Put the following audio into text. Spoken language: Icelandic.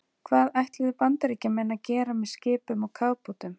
Það ætluðu Bandaríkjamenn að gera með skipum og kafbátum.